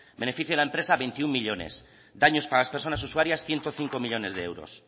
beneficio de la empresa veintiuno millónes daños para las personas usuarias ciento cinco millónes de euros